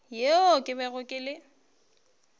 yeo ke bego ke le